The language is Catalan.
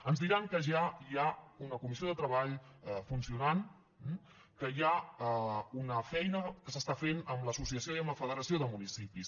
ens diran que ja hi ha una comissió de treball funcionant que hi ha una feina que s’està fent amb l’associació i amb la federació de municipis